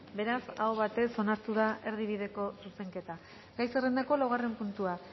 beraz aho batez onartu da erdibideko zuzenketa gai zerrendako laugarren puntua